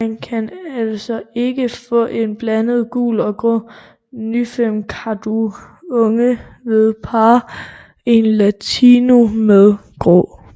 Man kan altså ikke få en blandet gul og grå Nymfekakadu unge ved at parre en Lutino med en Grå